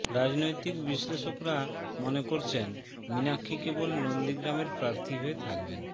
রাজনৈতিক বিশ্লেষকরা মনে করছেন মীনাক্ষী কেবল নন্দীগ্রামের প্রার্থী হয়ে থাকবেন